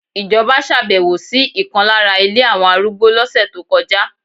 Ijoba ṣàbẹ̀wò sí ìkan lára ilé àwọn arúgbó lọ́sẹ̀ tó kọjá